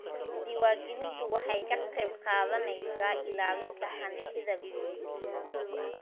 Diiwaangelintu waxay ka qayb qaadanaysaa ilaalinta hantida guud.